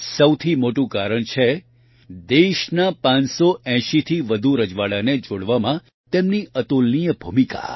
સૌથી મોટું કારણ છે દેશનાં ૫૮૦થી વધુ રજવાડાને જોડવામાં તેમની અતુલનીય ભૂમિકા